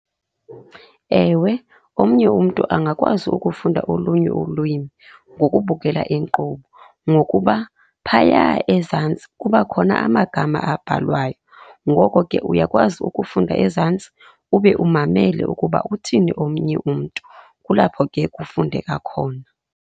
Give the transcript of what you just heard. Ewe, omnye umntu angakwazi ukufunda olunye ulwimi ngokubukela inkqubo ngokuba phaya ezantsi kuba khona amagama abhalwayo. Ngoko ke uyakwazi ukufunda ezantsi ube umamele ukuba uthini omnye umntu, kulapho ke kufundeka khona.